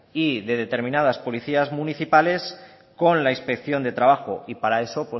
y determinadas policías municipales con la inspección de trabajo y para eso